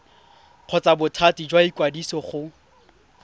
kgotsa bothati jwa ikwadiso go